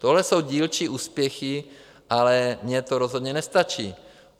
Tohle jsou dílčí úspěchy, ale mně to rozhodně nestačí.